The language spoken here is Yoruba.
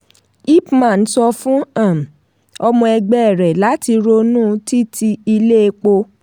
ipman sọ fún um ọmọ ẹgbẹ́ rẹ̀ lati ronú títi ilé epo.